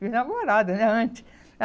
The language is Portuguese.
Minha namorada, né, antes.